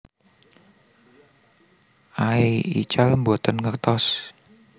Aey ical boten ngertos